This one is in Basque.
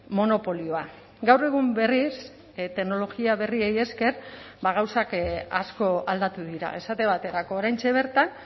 monopolioa gaur egun berriz teknologia berriei esker gauzak asko aldatu dira esate baterako oraintxe bertan